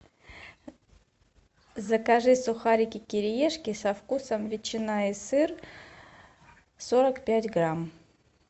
закажи сухарики кириешки со вкусом ветчина и сыр сорок пять грамм